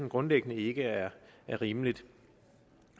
grundlæggende ikke er rimeligt